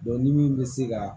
ni min bɛ se ka